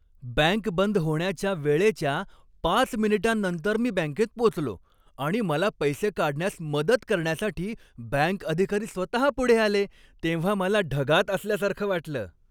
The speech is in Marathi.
बँक बंद होण्याच्या वेळेच्या पाच मिनिटांनंतर मी बँकेत पोचलो आणि मला पैसे काढण्यास मदत करण्यासाठी बँक अधिकारी स्वतहा पुढे आले, तेव्हा मला ढगात असल्यासारखं वाटलं.